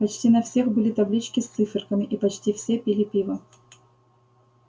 почти на всех были таблички с циферками и почти все пили пиво